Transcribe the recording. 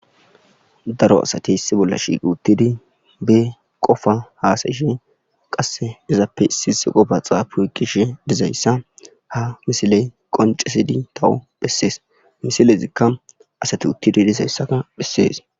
daro asati issi bolla shiiqi uttidi be qofa haasayishe qasse izappe isis qobaxaapuuiqishi dizayssa ha misiley qoncesidi tawu bhessees misilezikka asati uttidi dizayssaka bhessees